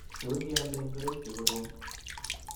Tos ialdoi ngorik che kororon